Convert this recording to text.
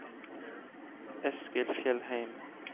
Eskil Fjellheim